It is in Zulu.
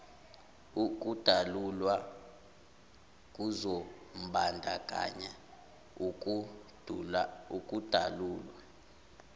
ukudalulwa kuzombandakanya ukudalulwa